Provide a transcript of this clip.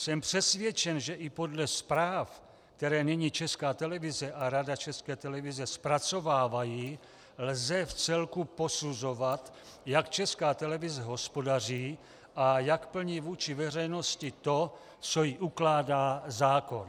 Jsem přesvědčen, že i podle zpráv, které nyní Česká televize a Rada České televize zpracovávají, lze vcelku posuzovat, jak Česká televize hospodaří a jak plní vůči veřejnosti to, co jí ukládá zákon.